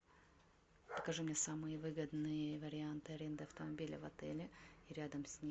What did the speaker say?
покажи мне самые выгодные варианты аренды автомобиля в отеле и рядом с ним